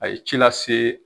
A ye ci lase